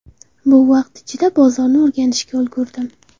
Bu vaqt ichida bozorni o‘rganishga ulgurdim.